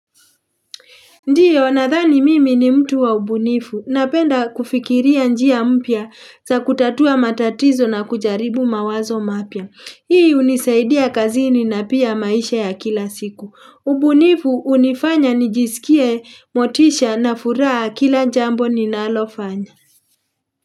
Ndiyo, nadhani mimi ni mtu wa ubunifu. Napenda kufikiria njia mpya za kutatua matatizo na kujaribu mawazo mapya. Hii unisaidia kazini na pia maisha ya kila siku. Ubunifu unifanya nijisikie motisha na furaha kila jambo ninalofanya.